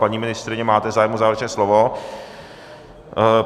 Paní ministryně, máte zájem o závěrečné slovo?